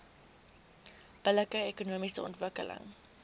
billike ekonomiese ontwikkeling